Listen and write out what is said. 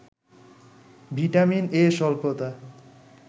vitamin A’ স্বল্পতা